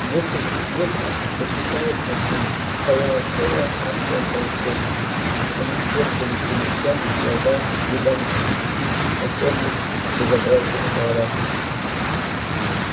в нескольких метрах возвышаясь над ними стояла целая армия пауков они щёлкали челюстями глаза рядами светились на чёрных безобразных головах